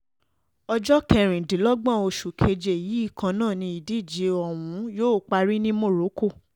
ọjọ́ kẹrìndínlọ́gbọ̀n oṣù keje yìí kan náà ni ìdíje ọ̀hún yóò parí ní morocco